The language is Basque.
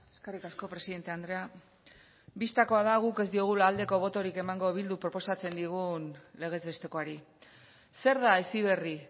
eskerrik asko presidente andrea bistakoa da guk ez diogula aldeko botorik emango eh bilduk proposatzen digun legez bestekoari zer da heziberri